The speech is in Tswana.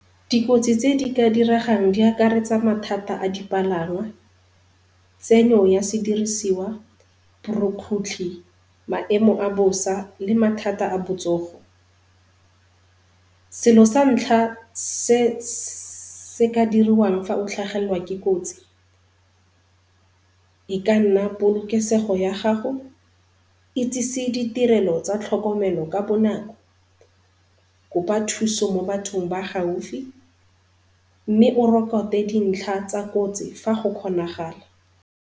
Dikotsi tse dika diregang di akaretsa mathata a dipalangwa tsenyo ya sedirisiwa, borukgutlhi, maemo a bosa le mathata a botsogo. Selo sa ntlha se se ka diriwang fa o ka tlhagelwa ke kotsi, e ka nna polokesego ya gago, itsisi ditirelo tsa tlhokomelo ka bonako, kopa thuso mo bathong ba gaufi, mme o rokote dintlha tsa kotsi fa go kgonagala.